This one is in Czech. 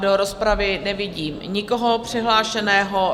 Do rozpravy nevidím nikoho přihlášeného.